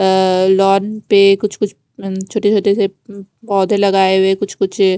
अ lawn पे कुछ कुछ छोटे छोटे से पोधे लगाये हुए है कुछ कुछ --